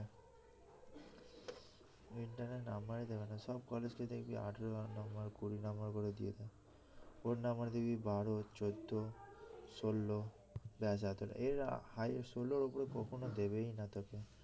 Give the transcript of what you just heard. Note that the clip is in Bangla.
internal এ নাম্বারই দেবেনা সব কলেজকে দেখবি আঠারো নাম্বার কুড়ি নাম্বার করে দিয়েছে ওর নাম্বার দেখবি বার চোদ্দ ষোল ব্যস এতটাই এর highest ষোল ওপরে কখনো দেবেই না তোকে